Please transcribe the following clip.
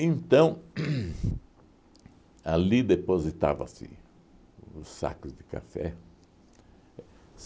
Então, uhn ali depositava-se os sacos de café.